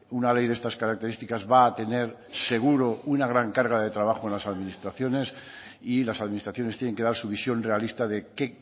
una ley de estas características va a tener seguro una gran carga de trabajo en las administraciones y las administraciones tienen que dar su visión realista de qué